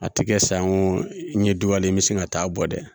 A tɛ kɛ sa ko n ye duwawu n bɛ sin ka taa bɔ dɛ